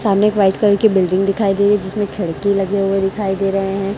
सामने एक white colour की बिल्डिंग दिखाई दे रही जिसमें खिड़की लगे हुए दिखाई दे रहे हैं।